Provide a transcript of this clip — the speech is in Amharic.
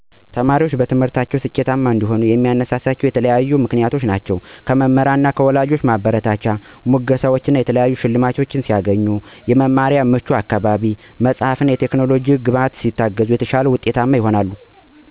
ተማሪዎች በትምህርታቸው ስኬታማ እንዲሆኑ የሚያነሳሳቸው በተለያዩ ምክንያቶች ናቸው። ለምሳሌ:- ከመምህራን እና ከወላጆች ማበረታቻ፣ ሙገሳወች፣ የተለያዩ ሸልማቶች ሲያገኙ እና አወንታዊ የመማሪያ አካባቢ፣ እንደ መጽሐፍት እና ቴክኖሎጂ ያሉ ግብዓቶችን ማግኘት ሲችሉ እና አጋዥ ቡድኖች እንዲኖሩ በማድረግ ወሳኝ ሚና ይጫወታል። ለርዕሰ ጉዳዮች ግላዊ ፍላጎት፣ ውጤታማ ጊዜ አያያዝ እና ራስን መግዛት የበለጠ ሊያበረታታቸው ይችላል። ከዚህም በላይ ትምህርትን ከወደፊት እድሎች ጋር ማገናኘት እንደ ሙያ እና የህይወት ግቦች ተማሪዎች የመማርን ጥቅም እንዲገነዘቡ እና የተሻለ እንዲሰሩ ማድረግ አሰፍላጊ ነው።